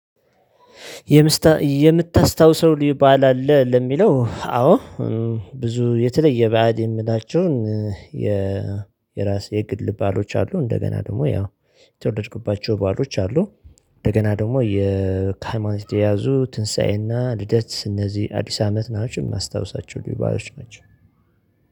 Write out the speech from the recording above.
የምታስታውሰው ልዩ በዓል አለ ለሚለው አዎ። ብዙ የተለየ በዓል የምላቸውን። የራስ የግል በዓሎች አሉ እንደገና ደግሞ ያው የተወለድኩባቸው በዓሎች አሉ። እንደገና ደግሞ ከሀይማኖት ጋር የተያያዙ ትንሳኤና ልደት እነዚህ አዲስ አመት ናቸው። የማስታውሳቸው ልዩ በዓሎች ናቸው